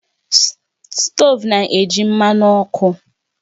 Stovu na-eji mmanụ ọkụ